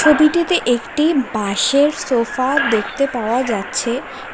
ছবিটিতে একটি বাঁশের সোফা দেখতে পাওয়া যাচ্ছে।